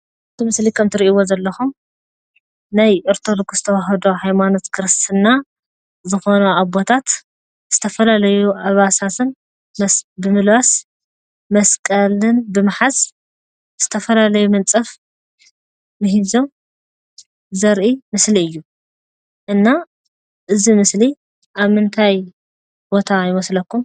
እዚ ምስሊ ከም ትሪኢዎ ዘለኹም ናይ አርቶዶክስ ተዋህዶ ሃይማኖት ክርስትና ዝኾኑ አቦታት ዝተፈላለዩ አልባሳትን ዘስ ብምልባስ መስቀልን ብምሓዝ ዝተፈላለዩ ምንፃፍ ሚሂዞም ዘሪኢ ምስሊ እዩ፡፡ እና እዚ ምስሊ አብ ምንታይ ቦታ ይመስለኩም?